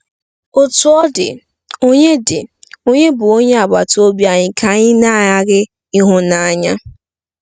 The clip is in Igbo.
Otú ọ dị, ònye dị, ònye bụ onye agbata obi anyị ka anyị na-aghaghị ịhụ n'anya?